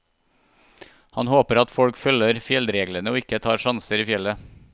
Han håper at folk følger fjellreglene og ikke tar sjanser i fjellet.